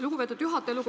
Lugupeetud juhataja!